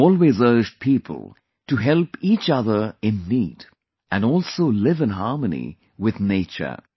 She always urged people to help each other in need and also live in harmony with nature